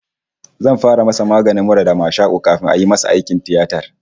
His cold and catarrh will be treated first before the surgery